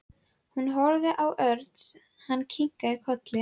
Hún horfði á Örn. Hann kinkaði kolli.